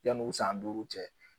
Yanni u san duuru cɛ